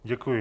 Děkuji.